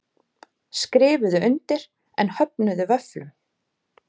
Skrifuðu undir en höfnuðu vöfflum